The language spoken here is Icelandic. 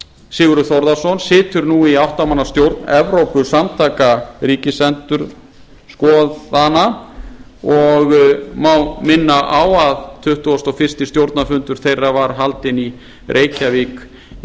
sigurður þórðarson situr nú í átta manna stjórn evrópusamtaka ríkisendurskoðana og má minna á að tuttugasta og fyrsti stjórnarfundur þeirra var haldinn í reykjavík í